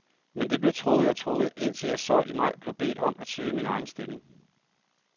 Men det blev trukket og trukket, indtil jeg så i maj blev bedt om at søge min egen stilling.